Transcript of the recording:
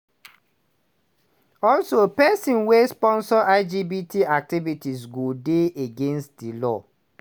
also pesin wey sponsor lgbt activities go dey against di law.